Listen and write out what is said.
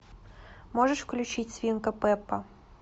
можешь включить свинка пеппа